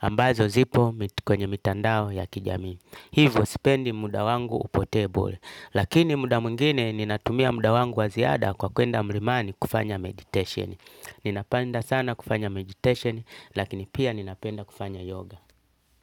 Ambazo zipo kwenye mitandao ya kijamii. Hivyo sipendi muda wangu upotee bure. Lakini muda mwingine ninatumia muda wangu wa ziada kwa kuenda mrimani kufanya meditation. Ninapanda sana kufanya meditation lakini pia ninapenda kufanya yoga.